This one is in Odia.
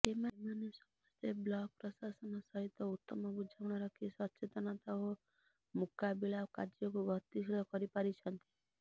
ଏମାନେ ସମସ୍ତେ ବ୍ଲକ୍ ପ୍ରଶାସନ ସହିତ ଉତ୍ତମ ବୁଝାମଣା ରଖି ସଚେତନତା ଓ ମୁକାବିଳା କାର୍ଯ୍ୟକୁ ଗତିଶୀଳ କରିପାରିଛନ୍ତି